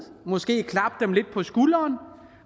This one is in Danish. måske klappe dem lidt på skulderen